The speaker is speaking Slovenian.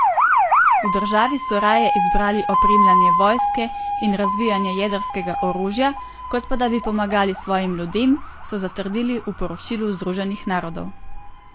V državi so raje izbrali opremljanje vojske in razvijanje jedrskega orožja kot pa da bi pomagali svojim ljudem, so zatrdili v poročilu Združenih narodov.